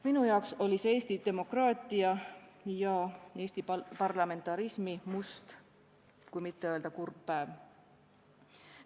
Minu arvates oli see Eesti demokraatia ja Eesti parlamentarismi must, kui mitte öelda kurb päev.